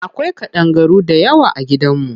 Akwai ƙadangaru dayawa a gidan mu.